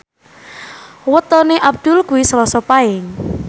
wetone Abdul kuwi Selasa Paing